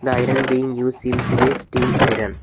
The iron being use seems to be a steam iron.